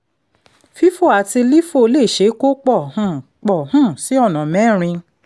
fifo àti lifo lè ṣe kó pò um pò um sí ọ̀nà mẹ́rin